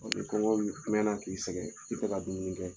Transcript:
kɔngɔ mɛnna k'i sɛgɛn i tɛ ka dumuni kɛ.